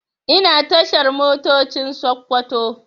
Ina tashar Motocin Sakkwato